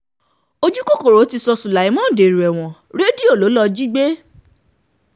ojúkòkòrò ti sọ sulaiman dèrò ẹ̀wọ̀n rédíò ló lọ́ọ́ jí gbé